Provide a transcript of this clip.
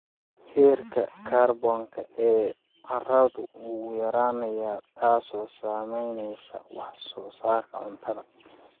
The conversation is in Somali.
Heerka kaarboonka ee carradu wuu yaraanayaa, taasoo saameynaysa wax soo saarka cuntada.